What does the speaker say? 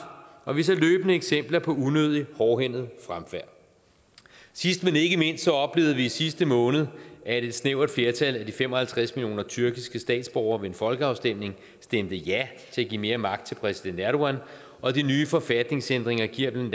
og vi ser løbende eksempler på unødig hårdhændet fremfærd sidst men ikke mindst oplevede vi i sidste måned at et snævert flertal af de fem og halvtreds millioner tyrkiske statsborgere ved en folkeafstemning stemte ja til at give mere magt til præsident erdogan og de nye forfatningsændringer giver den